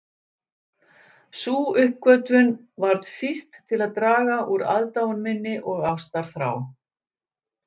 Sú uppgötvun varð síst til að draga úr aðdáun minni og ástarþrá.